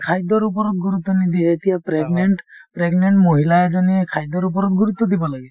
খাদ্যৰ ওপৰত গুৰুত্ব নিদিয়ে , এতিয়া pregnant pregnant মহিলা এজনীয়ে খাদ্যৰ ওপৰত গুৰুত্ব দিব লাগে